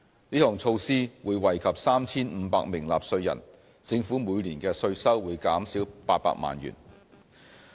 這項措施會惠及 3,500 名納稅人，政府每年的稅收會減少800萬元。